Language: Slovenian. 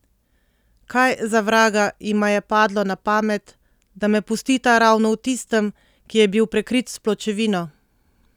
Kaj, za vraga, jima je padlo na pamet, da me pustita ravno v tistem, ki je bil prekrit s pločevino?